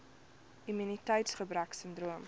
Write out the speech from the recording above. immuniteits gebrek sindroom